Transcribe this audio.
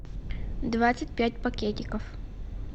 двадцать пять пакетиков